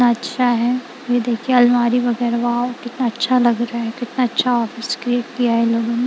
अच्छा है ये देखिए अलमारी वगैरा वॉव कितना अच्छा लग रहा है कितना अच्छा ऑफिस क्रिएट किया है इन लोगों ने।